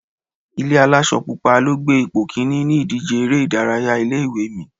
Ilé aláṣọ pupa ló gbé ipò kíní ní ìdíje eré ìdárayá ilé ìwé mi.